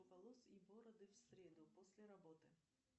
волос и бороды в среду после работы